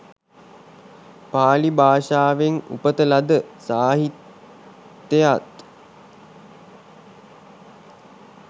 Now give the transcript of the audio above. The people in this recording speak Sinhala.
පාලි භාෂාවෙන් උපත ලද සාහිත්‍යයත්,